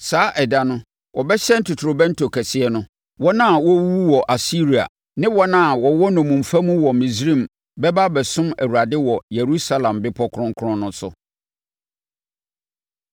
Saa ɛda no, wɔbɛhyɛn totorobɛnto kɛseɛ no. Wɔn a na wɔrewuwu wɔ Asiria ne wɔn a na wɔwɔ nnommumfa mu wɔ Misraim bɛba abɛsom Awurade wɔ Yerusalem bepɔ kronkron no so.